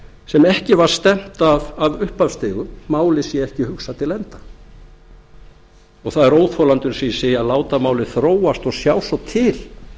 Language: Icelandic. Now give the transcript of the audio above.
sem ekki var stefnt að á upphafsstigum málið sé ekki hugsað til enda það er óþolandi eins og ég segi að láta málið þróast og sjá svo til